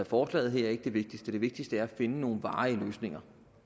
forslaget her er ikke det vigtigste det vigtigste er at finde nogle varige løsninger